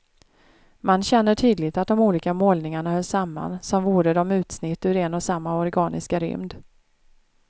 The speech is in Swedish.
Man känner tydligt att de olika målningarna hör samman, som vore de utsnitt ur en och samma organiska rymd.